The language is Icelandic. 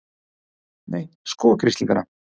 Nei, sko grislingana!